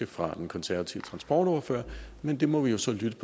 fra den konservative transportordfører men det må vi jo så lytte